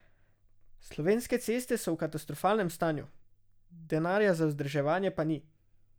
Slovenske ceste so v katastrofalnem stanju, denarja za vzdrževanje pa ni.